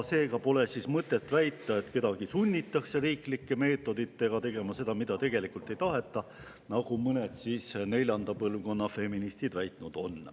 Seega pole mõtet väita, et kedagi sunnitakse riiklike meetoditega tegema seda, mida tegelikult ei taheta, nagu mõned neljanda põlvkonna feministid on väitnud.